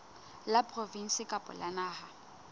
la provinse kapa la naha